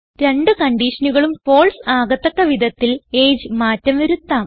രണ്ട് കൺഡിഷനുകളും ഫാൽസെ ആകത്തക്ക വിധത്തിൽ എജിഇ മാറ്റം വരുത്താം